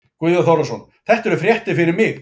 Guðjón Þórðarson: Þetta eru fréttir fyrir mig.